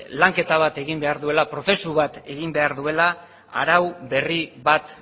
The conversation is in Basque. lanketa bat egin behar duela prozesu bat egin behar duela arau berri bat